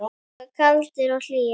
Kaldir og hlýir.